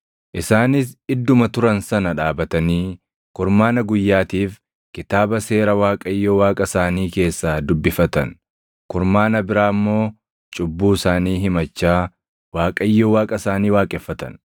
Isaanis idduma turan sana dhaabatanii kurmaana guyyaatiif Kitaaba Seera Waaqayyo Waaqa isaanii keessaa dubbifatan; kurmaana biraa immoo cubbuu isaanii himachaa Waaqayyo Waaqa isaanii waaqeffatan.